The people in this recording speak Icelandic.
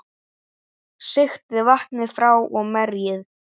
Sigtið vatnið frá og merjið.